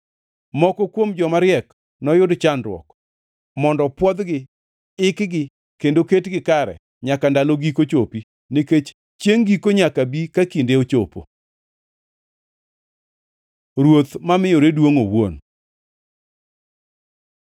Moko kuom joma riek noyud chandruok, mondo pwodhgi, ikgi kendo ketgi kare nyaka ndalo giko chopi, nikech chiengʼ giko nyaka bi ka kinde ochopo. Ruoth mamiyore duongʼ owuon